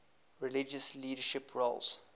religious leadership roles